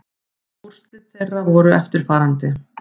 Úrslit þeirra voru eftirfarandi